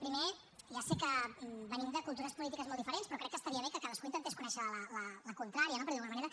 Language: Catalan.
primer ja sé que venim de cultures polítiques molt diferents però crec que estaria bé que cadascú intentés conèixer la contrària per dir ho d’alguna manera